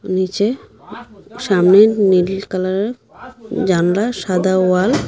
নীচে সামনে নীল কালারের জানলা সাদা ওয়াল ।